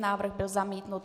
Návrh byl zamítnut.